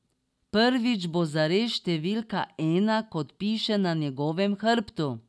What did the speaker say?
Prvič bo zares številka ena, kot piše na njegovem hrbtu.